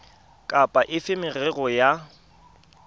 kapa efe ya merero ya